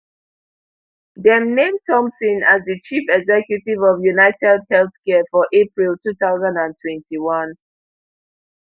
dem name thompson as di chief executive of unitedhealthcare for april two thousand and twenty-one